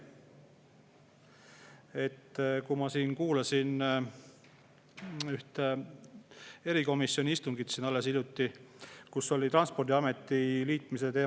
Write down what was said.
Ma kuulasin alles hiljuti ühte erikomisjoni istungit, kus oli juttu Transpordiameti liitmisest.